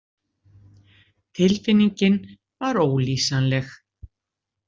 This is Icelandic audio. Tilfinningin var ólýsanleg.